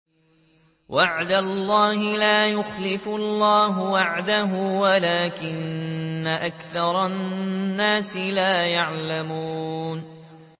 وَعْدَ اللَّهِ ۖ لَا يُخْلِفُ اللَّهُ وَعْدَهُ وَلَٰكِنَّ أَكْثَرَ النَّاسِ لَا يَعْلَمُونَ